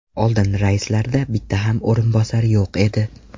Oldin raislarda bitta ham o‘rinbosar yo‘q edi.